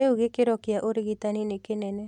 Rĩu gĩkĩro kĩa ũrigitani nĩ kĩnene